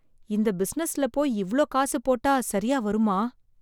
இந்த பிசினஸ்ல போய் இவ்ளோ காசு போட்டா சரியா வருமா?